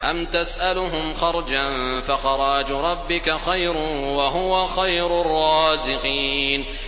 أَمْ تَسْأَلُهُمْ خَرْجًا فَخَرَاجُ رَبِّكَ خَيْرٌ ۖ وَهُوَ خَيْرُ الرَّازِقِينَ